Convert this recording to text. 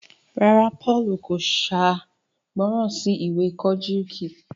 ràrá Paul kò ṣàìgbọràn sí ìwé Kojiki.